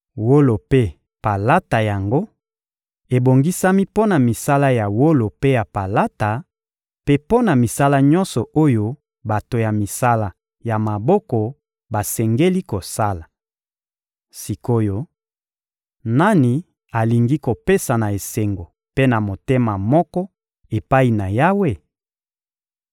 Wolo mpe palata yango ebongisami mpo na misala ya wolo mpe ya palata, mpe mpo na misala nyonso oyo bato ya misala ya maboko basengeli kosala. Sik’oyo, nani alingi kopesa na esengo mpe na motema moko epai na Yawe?